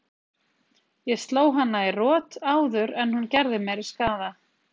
Ég sló hana í rot áður en hún gerði meiri skaða.